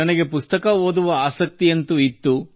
ನನಗೆ ಪುಸ್ತಕ ಓದುವ ಹವ್ಯಾಸವಂತೂ ಇತ್ತು